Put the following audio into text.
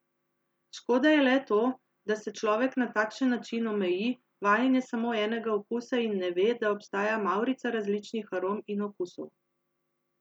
Škoda je le to, da se človek na takšen način omeji, vajen je samo enega okusa in ne ve, da obstaja mavrica različnih arom in okusov.